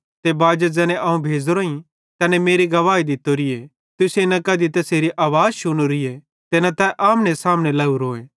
ते बाजी ज़ैने अवं भेज़ोरोईं तैने मेरी गवाही दित्तोरीए तुसेईं न कधी तैसेरी आवाज़ शुनोरी ते न तै आमने सामने लोरोए